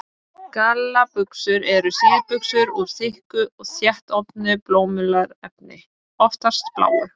Gallabuxur eru síðbuxur úr þykku, þéttofnu bómullarefni, oftast bláu.